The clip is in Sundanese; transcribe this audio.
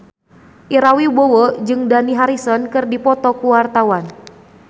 Ira Wibowo jeung Dani Harrison keur dipoto ku wartawan